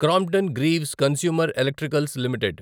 Crompton Greaves consumer electricals limited